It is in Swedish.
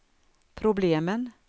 problemen